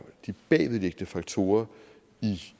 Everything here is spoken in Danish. de bagvedliggende faktorer